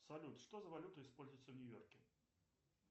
салют что за валюта используется в нью йорке